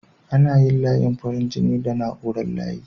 Ana yin layin farin jini da na'urar layi.